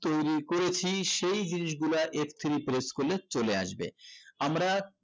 তৈরী করেছি সেই জিনিস গুলা f three press করলে চলে আসবে আমরা